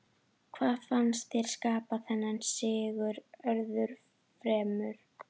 Hvað fannst þér skapa þennan sigur öðru fremur?